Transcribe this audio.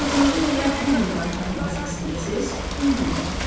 Borcunuzun elə bu gün qaytarılmasını istəyirsiniz, mümkünsə.